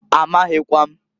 Amaghịkwa m.